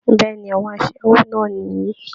Bẹ́ẹ̀ ni, àwọn aṣẹ́wó náà nìyí